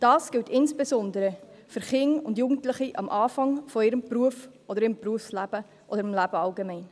Das gilt insbesondere für Kinder und Jugendliche zu Beginn ihres Berufslebens oder des Lebens allgemein.